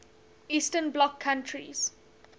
eastern bloc countries